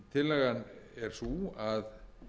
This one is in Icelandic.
tillagan er sú að